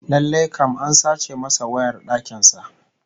Lallai kam an sace masa wayar dakin sa